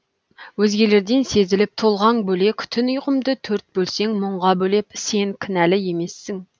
өзгелерден сезіліп тұлғаң бөлек түн ұйқымды төрт бөлсең мұңға бөлеп сен кінәлі емессің